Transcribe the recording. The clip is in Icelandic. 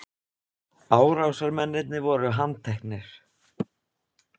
Árásarmennirnir voru handteknir